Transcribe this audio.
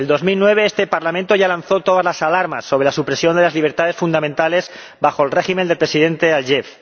En 2009, este Parlamento ya lanzó todas las alarmas sobre la supresión de las libertades fundamentales bajo el régimen del presidente Aliyev.